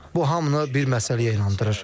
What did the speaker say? Bu hamını bir məsələyə inandırır.